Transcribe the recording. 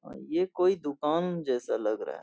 और ये कोई दुकान जैसा लग रहा है।